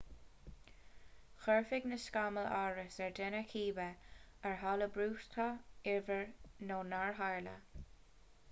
chuirfeadh na scamaill amhras ar dhuine cibé ar tharla brúchtadh iarbhír nó nár tharla